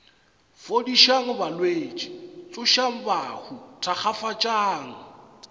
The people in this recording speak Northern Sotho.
fodišang balwetši tsošang bahu thakgafatšang